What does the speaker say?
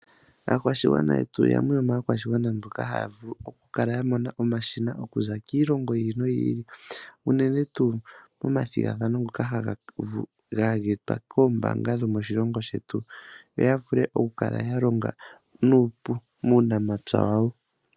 Aakwashigwana yetu yamwe yomaakwashigwana mboka haya vulu okukala yamona omashina okuza kiilongo yiili no yiili unene tuu komathigathano ngoka ha geetwa koombaanga dhomoshilongo shetu yo yavulu okukala yalonga nuupu muunamapya wayo.